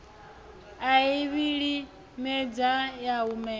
a i vhilimedza ya humela